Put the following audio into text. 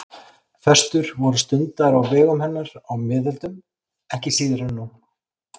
Föstur voru stundaðar á vegum hennar á miðöldum ekki síður en nú.